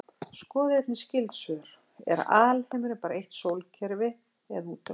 Skoðið einnig skyld svör: Er alheimurinn bara eitt sólkerfi eða út um allt?